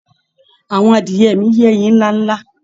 Àwọn adiẹ mi ń yẹ́yin ńlá ńlá